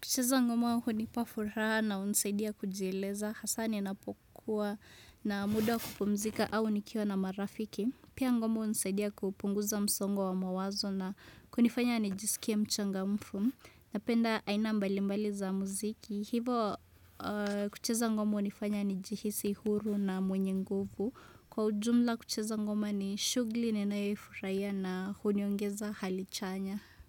Kucheza ngoma hunipa furaha na hunisaidia kujieleza. Hasa ninapokuwa na muda wa kupumzika au nikiwa na marafiki. Pia ngoma hunisaidia kupunguza msongo wa mawazo na kunifanya nijisikia mchangamfu. Napenda aina mbali mbali za muziki. Hivo kucheza ngoma huo nifanya nijihisi huru na mwenye nguvu. Kwa ujumla kucheza ngoma ni shughuli ninayoifurahia na huniongeza hali chanya.